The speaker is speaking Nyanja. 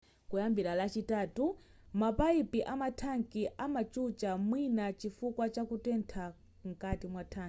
kuyambira lachitatu mapayipi amathanki amachucha mwina chifukwa chakutetha nkati mwathanki